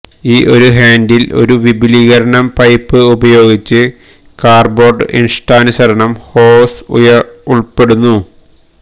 ഈ ഒരു ഹാൻഡിൽ ഒരു വിപുലീകരണം പൈപ്പ് ഉപയോഗിച്ച് കാർഡ്ബോർഡ് ഇഷ്ടാനുസരണം ഹോസ് ഉൾപ്പെടുന്നു